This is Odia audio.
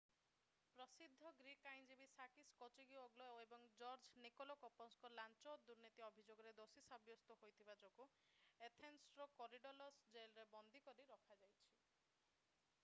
ପ୍ରସିଦ୍ଧ ଗ୍ରୀକ୍ ଆଇନଜୀବୀ ସାକିସ୍ କେଚାଗିଓଗ୍ଲୋ ଏବଂ ଜର୍ଜ ନିକୋଲାକୋପସଙ୍କୁ ଲାଞ୍ଚ ଓ ଦୁର୍ନୀତି ଅଭିଯୋଗରେ ଦୋଷୀ ସାବ୍ୟସ୍ତ ହୋଇଥିବା ଯୋଗୁଁ ଏଥେନ୍ସର କୋରିଡଲସ୍ ଜେଲରେ ବନ୍ଦୀ କରି ରଖାଯାଇଛି